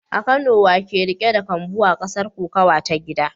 A Kano wa ke riƙe da kambu a gasar kokawa ta gida?